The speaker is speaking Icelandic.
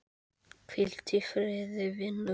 Hvíldu í friði vinur.